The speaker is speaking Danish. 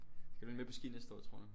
Skal du egentlig med på ski næste år tror du?